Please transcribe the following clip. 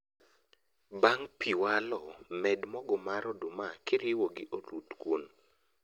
Bang' pii walo, med mogo mar oduma kiriwo gi oluth kuon